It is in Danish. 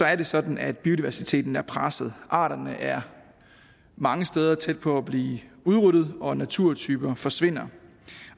er det sådan at biodiversiteten er presset og arterne er mange steder tæt på at blive udryddet og naturtyper forsvinder